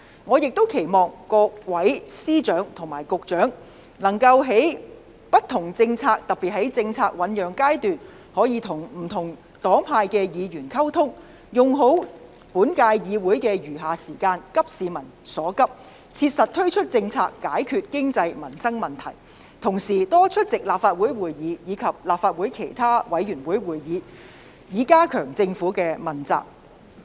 我亦期望各司長和局長能在制訂不同政策時，特別是在政策醞釀階段跟不同黨派的議員溝通，善用本屆議會的餘下任期，急市民所急，切實推行政策以解決經濟民生問題，並多出席立法會會議及立法會其他委員會會議，以加強政府的問責。